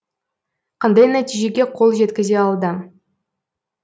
қандай нәтижеге қол жеткізе алды